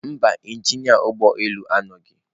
Mba, injinia ụgbọ elu adịghị.